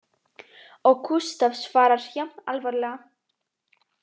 Og Gústaf svarar jafn alvarlega